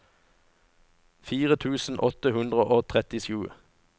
fire tusen åtte hundre og trettisju